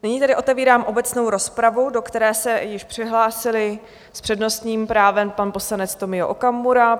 Nyní tedy otevírám obecnou rozpravu, do které se již přihlásil s přednostním právem pan poslanec Tomio Okamura.